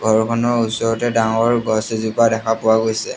ঘৰখনৰ ওচৰতে ডাঙৰ গছ এজোপা দেখা পোৱা গৈছে।